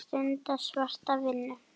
Að stunda svarta vinnu.